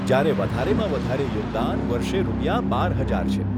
જ્યારે વધારેમાં વધારે યોગદાન વર્ષે રૂપિયા બાર હજાર છે.